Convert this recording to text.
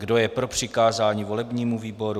Kdo je pro přikázání volebnímu výboru?